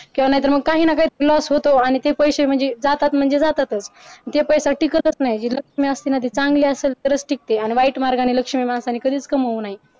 किंवा नाहीतर मग काहींना काही loss होतो अह म्हणजे ते पैसे जातात म्हणजे जातातच जे पैसा टाकतच नाय जे लक्ष्मी असते ना ती चांगली असलं तरच टिकते आणि वाईट मार्गाने लक्ष्मी माणसाने कधीच कमवू नये.